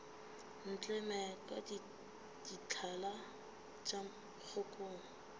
ntleme ka dithala tša kgokong